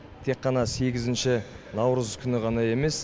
тек қана сегізінші наурыз күні ғана емес